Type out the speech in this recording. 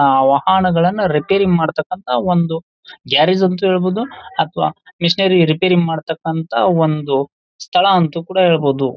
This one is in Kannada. ಆ ವಾಹನಗಳನ್ನ ರಿಪೇರಿ ಮಾಡತಕ್ಕಂತ ಒಂದು ಗ್ಯಾರೇಜು ಅಂತಾನೂ ಹೇಳಬಹುದು ಅಥವಾ ಮಿಶಿನರಿ ರಿಪೇರಿ ಮಾಡತಕ್ಕಂತ ಒಂದು ಸ್ಥಳ ಅಂತ ಕೂಡ ಹೇಳಬಹುದು.